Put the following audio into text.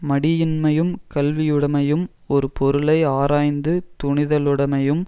மடியின்மையும் கல்வியுடைமையும் ஒரு பொருளை ஆராய்ந்து துணிதலுடைமையும்